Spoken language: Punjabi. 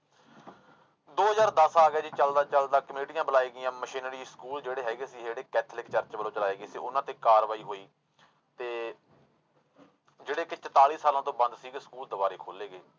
ਦੋ ਹਜ਼ਾਰ ਦਸ ਆ ਗਿਆ ਜੀ ਚੱਲਦਾ ਚੱਲਦਾ ਕਮੇਟੀਆਂ ਬੁਲਾਈ ਗਈਆਂ ਮਸ਼ੀਨਰੀ ਸਕੂਲ ਜਿਹੜੇ ਹੈਗੇ ਸੀ ਜਿਹੜੇ ਕੈਥੋਲਿਕ church ਵੱਲੋਂ ਚਲਾਏ ਗਏ ਸੀ ਉਹਨਾਂ ਤੇ ਕਾਰਵਾਈ ਹੋਈ ਤੇ ਜਿਹੜੇ ਕਿ ਚੁਤਾਲੀ ਸਾਲਾਂ ਤੋਂ ਬੰਦ ਸੀਗੇ ਸਕੂਲ ਦੁਬਾਰਾ ਖੋਲੇ ਗਏ।